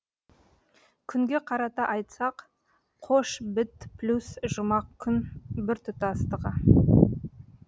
күнге қарата айтсақ қош біт плюс жұмақ күн біртұтастығы